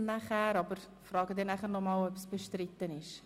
Ich werde aber nachher fragen, ob dieser Vorstoss bestritten ist.